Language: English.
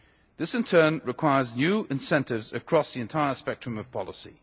This in turn requires new incentives across the entire spectrum of policy.